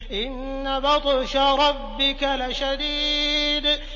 إِنَّ بَطْشَ رَبِّكَ لَشَدِيدٌ